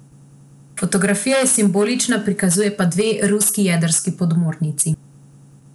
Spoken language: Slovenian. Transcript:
Fotografija je simbolična, prikazuje pa dve ruski jedrski podmornici.